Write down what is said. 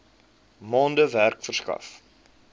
maande werk verskaf